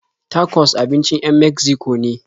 Tacos abincin 'yan Megziko ne.